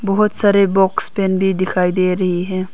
बहोत सारे box pen भी दिखाई दे रही है।